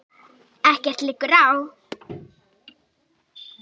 Ekkert liggur á.